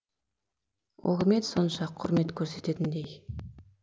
ол кім еді сонша құрмет көрсететіндей